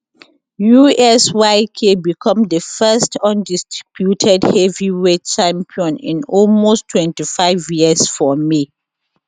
usyk become di first undisputed heavyweight champion in almost 25 years for may